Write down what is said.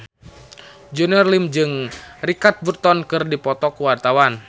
Junior Liem jeung Richard Burton keur dipoto ku wartawan